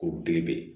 Ko belebele